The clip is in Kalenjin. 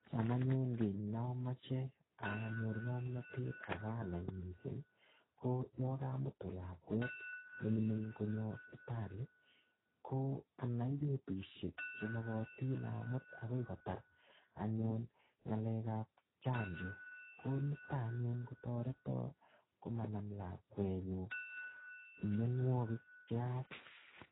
Cham anyun kiy neamache anyor ng'omnatet ako anai missing, ko yakamutu lakwet ne mining' konyo sipitali, ko anai betusiek che magatin amut akoi kotar anyun ng'alekap chanjo. Ko niton anyun kotoreto komanam lakwet nyu mianwogik che yaach.